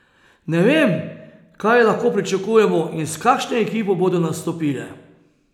Ne vem, kaj lahko pričakujemo in s kakšno ekipo bodo nastopile.